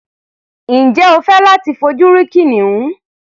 Ǹjẹ́ ẹ fẹ́ láti fojú rí kìnìún?